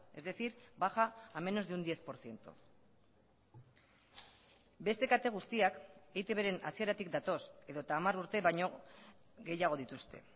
es decir baja a menos de un diez por ciento beste kate guztiak eitb ren hasieratik datoz edota hamar urte baino gehiago dituzte